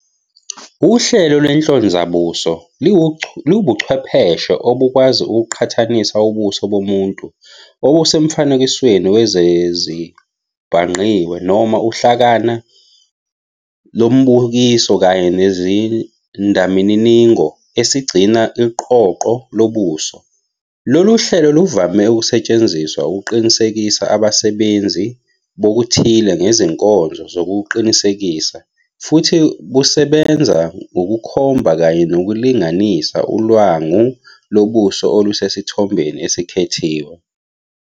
Uhlelo lwenhlonzabuso liwubuchwepheshe obukwazi ukuqhathanisa ubuso bomuntu obusemfanekisweni wezezibhangqiwe noma uhlakana lombukiso kanye nesizindamininingo esigcina iqoqo lobuso. Lolu hlelo luvame ukusetshenziswa ukuqinisekisa abasebenzisi bokuthile ngezinkonzo zokuqinisekisa, futhi busebenza ngokukhomba kanye nokulinganisa ulwangu lobuso olusesithombeni esikhethiwe.